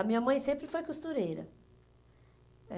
A minha mãe sempre foi costureira.